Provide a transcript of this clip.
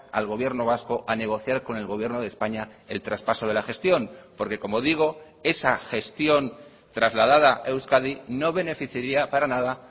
al gobierno vasco a negociar con el gobierno de españa el traspaso de la gestión porque como digo esa gestión trasladada a euskadi no beneficiaria para nada